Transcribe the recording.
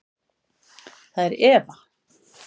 Það er Eva.